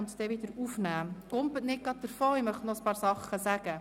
Gehen Sie nicht gleich weg, ich möchte noch einige Dinge sagen.